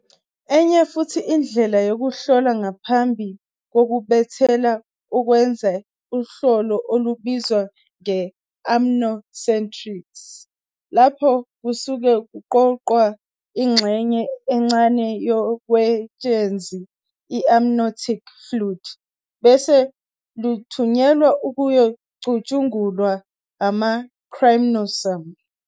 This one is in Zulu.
Enye futhi indlela yokuhlola ngaphambi kokubeletha ukwenza uhlolo olubizwa nge-amniocentesis. Lapha kusuke kuqoqwa ingxenye encane yoketshezi i-amniotic fluid bese luthunyelwa ukuyocutshungulwa ama-chromosome.